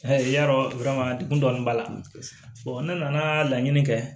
Yarɔ dekun dɔni b'a la ne nana laɲini kɛ